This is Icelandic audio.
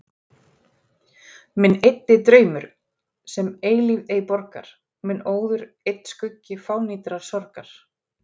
Minn eyddi draumur, sem eilífð ei borgar, minn óður einn skuggi fánýtrar sorgar.